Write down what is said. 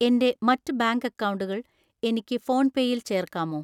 എൻ്റെ മറ്റ് ബാങ്ക് അക്കൗണ്ടുകൾ എനിക്ക് ഫോൺപേയിൽ ചേർക്കാമോ?